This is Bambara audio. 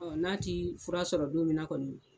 n'a ti fura sɔrɔ don minna kɔni.